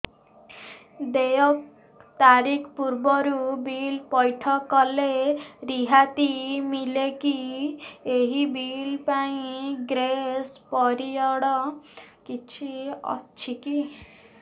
ଦେୟ ତାରିଖ ପୂର୍ବରୁ ବିଲ୍ ପୈଠ କଲେ ରିହାତି ମିଲେକି ଏହି ବିଲ୍ ପାଇଁ ଗ୍ରେସ୍ ପିରିୟଡ଼ କିଛି ଅଛିକି